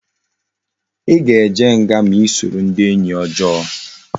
I ga eje nga ma esoro ndi enyi ojoo